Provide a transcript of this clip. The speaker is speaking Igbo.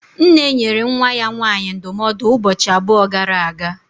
Nne nyere nwa ya nwaanyị ndụmọdụ ụbọchị abụọ gara aga